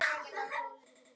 En þau gerðu líka annað.